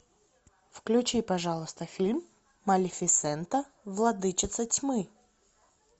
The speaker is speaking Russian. включи пожалуйста фильм малефисента владычица тьмы